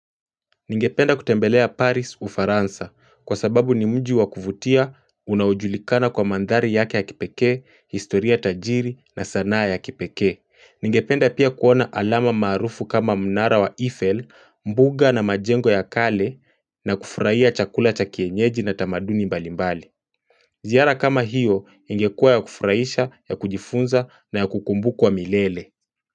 Ningependa kutembelea Paris Ufaransa kwa sababu ni mji wakuvutia unaojulikana kwa mandhari yake ya kipekee, historia tajiri na sanaa ya kipekee. Ningependa pia kuona alama maarufu kama mnara wa Eiffel, mbuga na majengo ya kale na kufurahia chakula cha kienyeji na tamaduni mbalimbali. Ziara kama hiyo, ingekua ya kufurahisha, ya kujifunza na ya kukumbukwa milele.